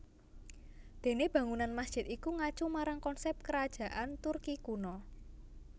Dene bangunan masjid iku ngacu marang konsep Kerajaan Turki kuno